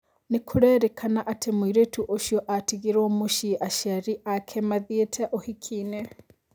Nĩkũrerĩkana atĩ mũirĩtu ũcio atigirwo mũcĩĩ aciari aje mathĩite ũhiki-inĩ